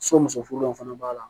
So muso furulenw fana b'a la